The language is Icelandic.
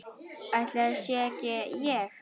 Ætli það sé ekki ég.